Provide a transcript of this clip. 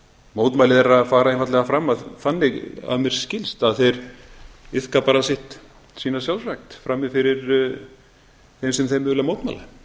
mótmæli þeirra fara einfaldlega fram þannig að mér skilst að þeir iðka bara sína sjálfsrækt frammi fyrir þeim sem þeir vilja mótmæla